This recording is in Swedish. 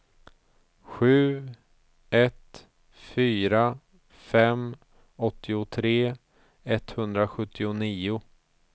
sju ett fyra fem åttiotre etthundrasjuttionio